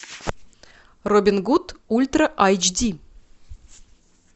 робин гуд ультра айч ди